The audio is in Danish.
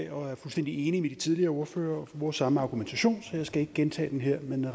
og er fuldstændig enig med de tidligere ordførere og bruger samme argumentation så jeg skal ikke gentage den her